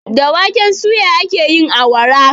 Da waken suya ake yin awara.